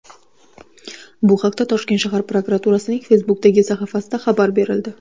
Bu haqda Toshkent shahar prokuraturasining Facebook’dagi sahifasida xabar berildi .